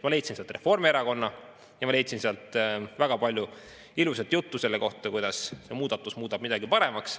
Ma leidsin sealt Reformierakonna ja ma leidsin sealt väga palju ilusat juttu selle kohta, kuidas see muudatus muudab midagi paremaks.